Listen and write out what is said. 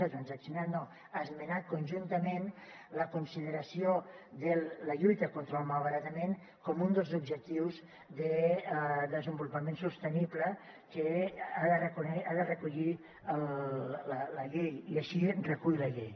no transaccionat no esmenat conjuntament la consideració de la lluita contra el malbaratament com un dels objectius de desenvolupament sostenible que ha de recollir la llei i així ho recull la llei